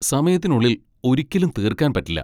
സമയത്തിനുള്ളിൽ ഒരിക്കലും തീർക്കാൻ പറ്റില്ല.